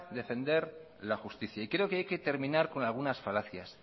defender la justicia y creo que hay que terminar con algunas falacias